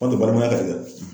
balimaya ka di dɛ.